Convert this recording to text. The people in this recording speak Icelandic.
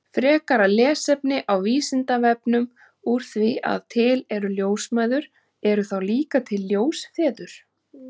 Frekara lesefni á Vísindavefnum Úr því að til eru ljósmæður, eru þá líka til ljósfeður?